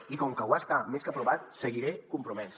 i com que ho està més que provat seguiré compromès